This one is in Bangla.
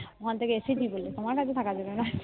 ওখান থেকে এসেই তুমি বললে আমার এত খারাপ লাগলো না